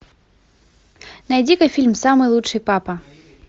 найди ка фильм самый лучший папа